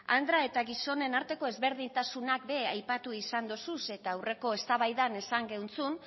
andra eta gizonen arteko ezberdintasunak be aipatu izan dozuz eta aurreko eztabaidan esan